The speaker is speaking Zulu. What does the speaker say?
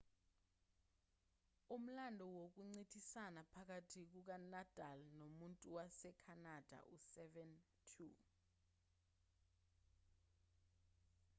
umlando wokuncintisana phakathi kukanadal nomuntu wasekhanada u-7–2